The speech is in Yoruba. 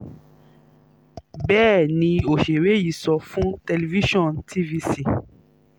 bẹ́ẹ̀ ni òṣèré yìí sọ fún television tvc